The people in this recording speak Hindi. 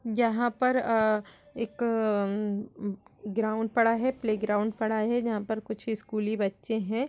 यहाँ पर अ एक अम ग्राउंड पड़ा है प्ले ग्राउंड पड़ा है जहां पर कुछ स्कूली बच्चे हैं।